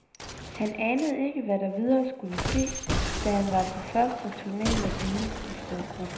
Han anede ikke hvad der videre skulle ske, da han var på første turné med sin nystiftede gruppe.